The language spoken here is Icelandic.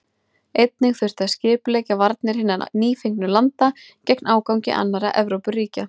Einnig þurfti að skipuleggja varnir hinna nýfengnu landa gegn ágangi annarra Evrópuríkja.